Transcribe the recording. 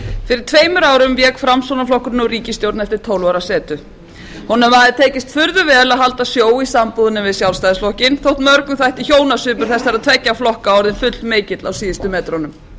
fyrir tveimur árum vék framsóknarflokkurinn úr ríkisstjórn eftir tólf ára setu honum hafði tekist furðu vel að halda sjó í sambúðinni við sjálfstæðisflokkinn þótt mörgum þætti hjónasvipur þessara tveggja flokka orðinn fullmikill á síðustu metrunum við náðum þó að standa